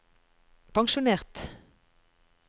pensjonert